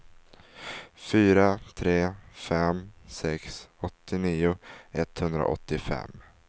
fyra tre fem sex åttionio etthundraåttiofem